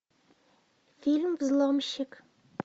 фильм взломщик